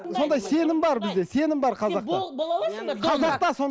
сондай сенім бар бізде сенім бар қазақта сен бола аласыз ба қазақта